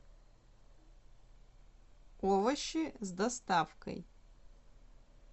овощи с доставкой